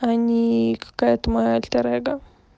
а не какая ты моё альтер эго